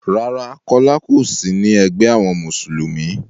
Rárá, Kọ́lá ò sí ní egbé àwọn Mùsùlùmí.